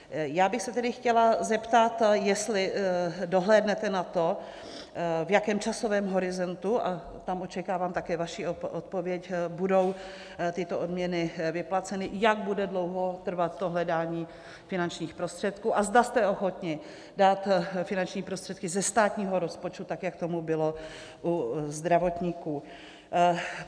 Já bych se tedy chtěla zeptat, jestli dohlédnete na to, v jakém časovém horizontu, a tam očekávám také vaši odpověď, budou tyto odměny vyplaceny, jak bude dlouho trvat to hledání finančních prostředků a zda jste ochotni dát finanční prostředky ze státního rozpočtu tak, jak tomu bylo u zdravotníků.